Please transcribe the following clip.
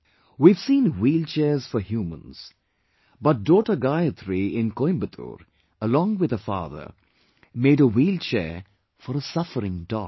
We have seen wheelchairs for humans, but daughter Gayatri in Coimbatore, along with her father, made a wheelchair for a suffering dog